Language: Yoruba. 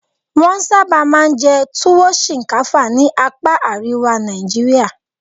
Wọ́n sábà máa ń jẹ Tuwo shinkafa ní apa àríwá Nàìjíríà.